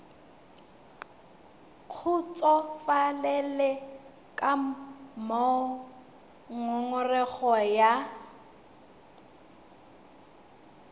kgotsofalele ka moo ngongorego ya